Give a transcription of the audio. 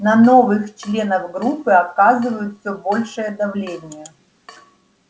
на новых членов группы оказывают всё большее давление